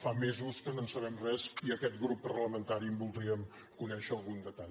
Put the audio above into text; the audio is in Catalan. fa mesos que no en sabem res i aquest grup parlamentari en voldríem conèixer algun detall